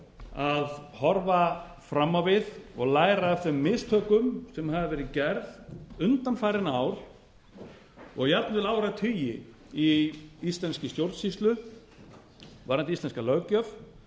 að horfa fram á við og læra af þeim mistökum sem að verið gerð undanfarin ár og jafnvel áratugi í íslenskri stjórnsýslu varðandi íslenska löggjöf